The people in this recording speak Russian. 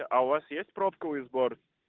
а у вас есть пробковый сбор